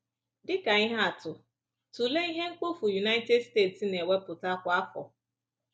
Dị ka ihe atụ, tụlee ihe mkpofu United States na-ewepụta kwa afọ.